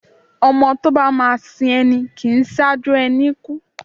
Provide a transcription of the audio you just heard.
ọmọ tọ ba ma sín ení, kín saju ení kú